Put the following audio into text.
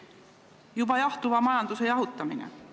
Toimub juba jahtuva majanduse jahutamine.